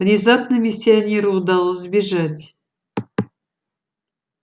внезапно миссионеру удалось сбежать